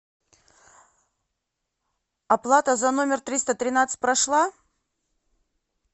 оплата за номер триста тринадцать прошла